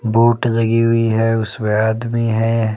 Boat लगी हुई है उसमें आदमी है।